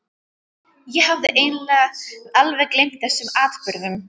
Ég hafði eiginlega alveg gleymt þessum atburðum.